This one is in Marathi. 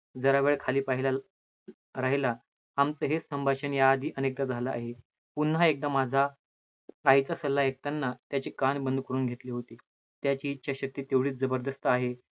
जरावेळ खाली पहिला, राहीला आमचे हे संभाषण या आधी अनेकदा झालं आहे, पुन्हा एकदा माझा आईचा सल्ला ऐकताना त्याची कान बंद करून घेतलं होते, त्याची इच्छा शक्ति तेवढीच जबरजस्त आहे.